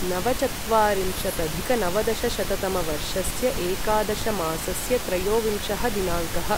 नवचत्वारिंशदधिकनवदशशततमवर्षस्य एकादशमासस्य त्रयोविंशः दिनाङ्कः